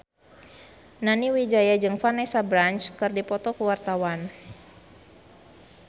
Nani Wijaya jeung Vanessa Branch keur dipoto ku wartawan